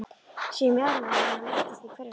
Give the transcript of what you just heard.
Sé mjaðmir hennar lyftast í hverju spori.